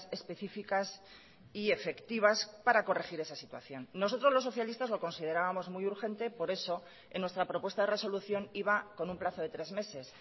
específicas y efectivas para corregir esa situación nosotros los socialistas lo considerábamos muy urgente por eso en nuestra propuesta de resolución iba con un plazo de tres meses